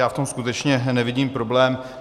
Já v tom skutečně nevidím problém.